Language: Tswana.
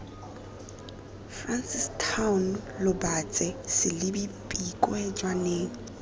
francistown lobatse selebi pikwe jwaneng